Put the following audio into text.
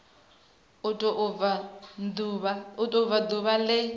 u tou bva ḓuvha ḽe